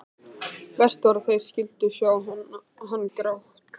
Verst var að þeir skyldu sjá hann gráta.